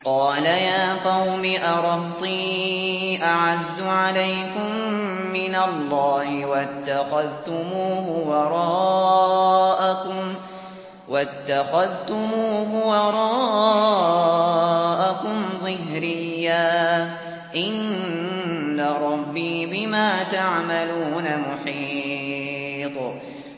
قَالَ يَا قَوْمِ أَرَهْطِي أَعَزُّ عَلَيْكُم مِّنَ اللَّهِ وَاتَّخَذْتُمُوهُ وَرَاءَكُمْ ظِهْرِيًّا ۖ إِنَّ رَبِّي بِمَا تَعْمَلُونَ مُحِيطٌ